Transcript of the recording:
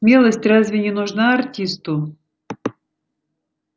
смелость разве не нужна артисту